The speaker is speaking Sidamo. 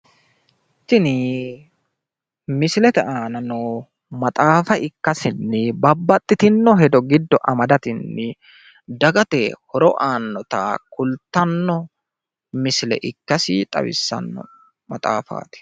Tini misilete aana noo maxaafa ikkasenni babbaxitino hedo giddo amadatenni dagate horo aannota kultanno misile ikkasi xawissanno maxaafaati.